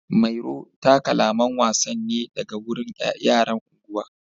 Mairo ta kalaman wasan ne daga wurin yaran unguwa.